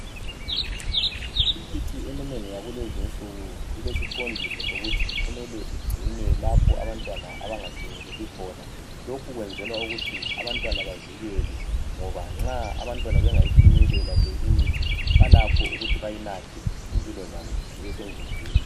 Imithi eminengi yakulezi insuku ilesiqondiso sokuthi kumele igcinwe lapho abantwana abangayifinyeleli khona .Lokhu kwenzelwa ukuthi abantwana bavikelwe ngoba nxa abantwana bangayifinyelela le imithi balakho ukuthi bayinathe impilo zabo zibesengozini.